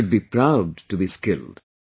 We should be proud to be skilled